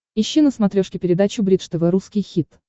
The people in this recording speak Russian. ищи на смотрешке передачу бридж тв русский хит